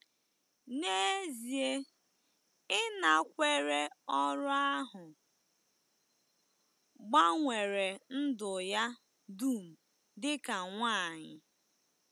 N'ezie, ịnakwere ọrụ ahụ gbanwere ndụ ya dum dị ka nwanyị.